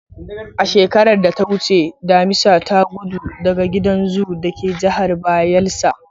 A shekarar da ta wuce damisa ta gudu daga gidan zoo da ke Jihar Bayelsa.